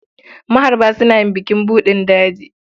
Maharba suna yin bukin buɗin daji.